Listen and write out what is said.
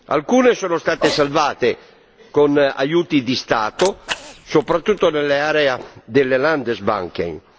Alcune sono state salvate con aiuti di Stato, soprattutto nell'area delle Landesbanken.